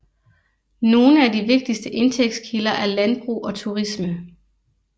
Nogle af de vigtigste indtægtskilder er landbrug og turisme